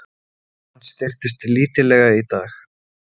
Krónan styrktist lítillega í dag